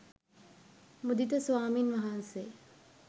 මුදිත ස්වාමින් වහන්සේ